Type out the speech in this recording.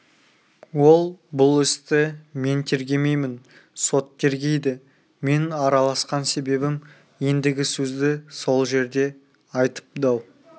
ол бұл істі мен тергемеймін сот тергейді менің араласқан себебім ендігі сөзді сол жерде айтып дау